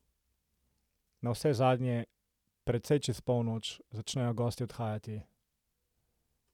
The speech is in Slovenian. Navsezadnje, precej čez polnoč, začnejo gostje odhajati.